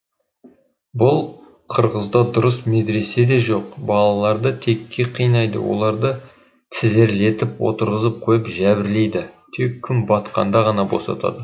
бұл қырғызда дұрыс медресе де жоқ балаларды текке қинайды оларды тізерлетіп отырғызып қойып жәбірлейді тек күн батқанда ғана босатады